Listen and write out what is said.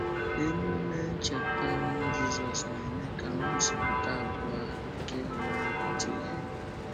Èmèmé Ncheta ọnwụ Jízọ́s na-eme ka ngosịpụta abụọ a nke ịhụnanya pụta ìhè.